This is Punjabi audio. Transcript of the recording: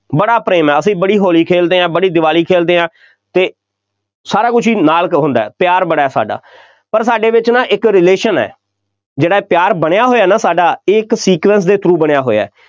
ਬੜਾ ਪ੍ਰੇਮ ਹੈ, ਅਸੀਂ ਬੜੀ ਹੋਲੀ ਖੇਲਦੇ ਹਾਂ, ਬੜੀ ਦੀਵਾਲੀ ਖੇਲਦੇ ਹਾਂ ਅਤੇ ਸਾਰਾ ਕੁੱਝ ਹੀ ਨਾਲ ਹੁੰਦਾ, ਪਿਆਰ ਬੜਾ ਹੈ ਸਾਡਾ, ਪਰ ਸਾਡੇ ਵਿੱਚ ਨਾ ਇੱਕ relation ਹੈ, ਜਿਹੜਾ ਇਹ ਪਿਆਰ ਬਣਿਆ ਹੋਇਆ ਨਾ ਸਾਡਾ ਇਹ ਇੱਕ sequence ਦੇ through ਬਣਿਆ ਹੋਇਆ,